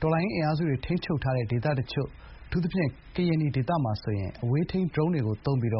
တော်လှန်ရေးအင်အားစုတွေ ထိန်းချုပ်ထားတဲ့ ဒေသတချို့ အထူးသဖြင့် ကရင်နီဒေသမှာ အဝေးထိန်းဒရုန်းတွေသုံးပြီး